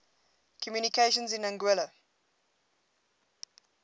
communications in anguilla